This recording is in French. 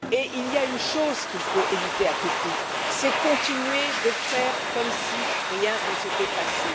Il y a une chose qu'il faut éviter à tout prix, c'est continuer de faire comme si rien ne s'était passé,